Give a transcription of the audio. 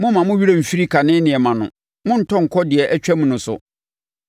“Momma mo werɛ mfiri kane nneɛma no monntɔ nkɔ deɛ atwam no so.